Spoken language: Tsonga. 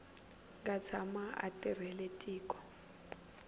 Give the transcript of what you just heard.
nga tshama a tirhela tiko